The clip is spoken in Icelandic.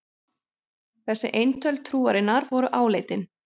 Þessi eintöl trúarinnar voru áleitin.